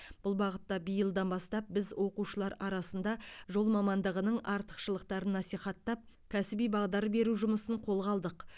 бұл бағытта биылдан бастап біз оқушылар арасында жол мамандығының артықшылықтарын насихаттап кәсіби бағдар беру жұмысын қолға алдық